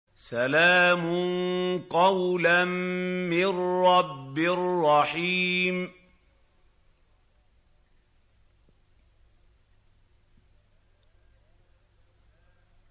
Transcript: سَلَامٌ قَوْلًا مِّن رَّبٍّ رَّحِيمٍ